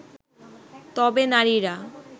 তবে নারীরা